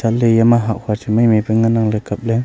ley yama hah hua chu mai mai pa ngan ang ley kap ley.